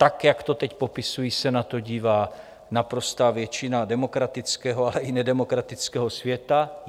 Tak, jak to teď popisuji, se na to dívá naprostá většina demokratického, ale i nedemokratického světa.